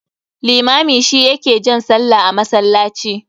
Limami shi ya ke jan sallah a masallaci.